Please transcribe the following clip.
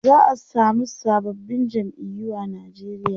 za'a samu sababbin jam'iyu a Nigeria